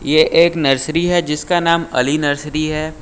यह एक नर्सरी है जिसका नाम अली नर्सरी है।